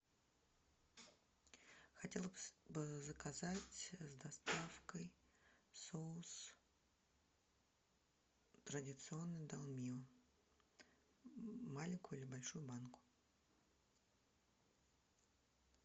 хотела бы заказать с доставкой соус традиционный долмио маленькую или большую банку